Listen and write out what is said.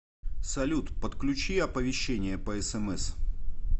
салют подключи оповещения по смс